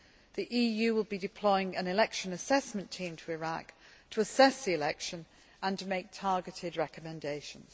The EU will be deploying an Election Assessment Team to Iraq to assess the election and make targeted recommendations.